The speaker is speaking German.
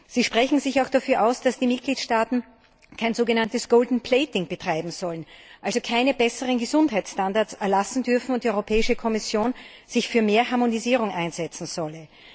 Sie sprechen sich auch dafür aus, dass die Mitgliedstaaten kein so genanntes Gold Plating betreiben sollen, also keine besseren Gesundheitsstandards erlassen dürfen, und die Kommission sich für mehr Harmonisierung einsetzen solle.